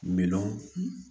Minnun